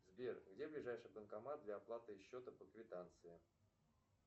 сбер где ближайший банкомат для оплаты счета по квитанции